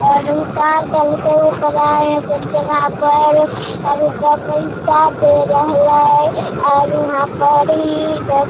और उतार देल के ओकरा अपन जगह पर और ओकरा पैसा दे रहले और वहां पर इ --